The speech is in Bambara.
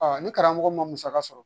ni karamɔgɔ ma musaka sɔrɔ